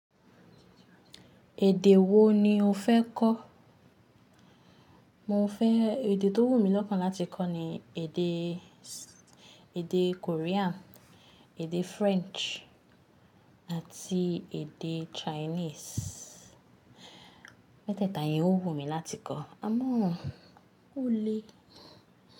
Èdè wo ni o fẹ́ kọ́? Mo fẹ́ èdè tó wù mí lọ́kan láti kọ́ ni èdè, èdè Korean, èdè French àti èdè Chinese. Meteẹ́ta yẹn ó wù mí láti kọ́ ámọ́o ó lé.